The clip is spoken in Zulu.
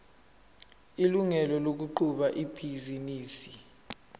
ilungelo lokuqhuba ibhizinisi